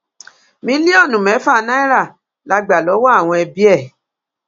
mílíọnù mẹfà náírà la gbà lọwọ àwọn ẹbí ẹ